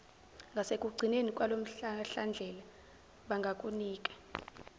ngasekugcineni kwalomhlahlandlela bangakunika